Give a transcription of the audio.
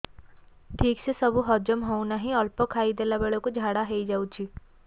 ଠିକସେ ସବୁ ହଜମ ହଉନାହିଁ ଅଳ୍ପ ଖାଇ ଦେଲା ବେଳ କୁ ଝାଡା ହେଇଯାଉଛି